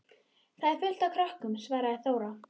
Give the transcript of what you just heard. Þar er fullt af krökkum, svaraði Þóra.